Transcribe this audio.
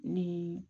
Ni